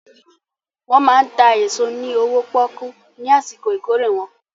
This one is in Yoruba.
Wọ́n máa ń ta èso ní owó pọ́ọ́kú ní àsìkò ìkórè wọn.